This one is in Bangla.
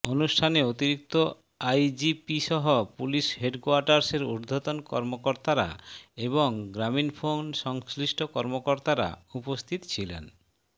অনুষ্ঠানে অতিরিক্ত আইজিপিসহ পুলিশ হেডকোয়ার্টার্সের ঊর্ধ্বতন কর্মকর্তারা এবং গ্রামীণফোন সংশ্লিষ্ট কর্মকর্তারা উপস্থিত ছিলেন